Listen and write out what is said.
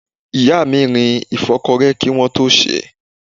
Ìyá mi rin ìfọ́kọrẹ́ kí wọ́n tó sèé.